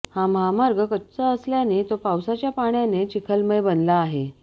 हा महामार्ग कच्चा असल्याने तो पावसाच्या पाण्याने चिखलमय बनला आहे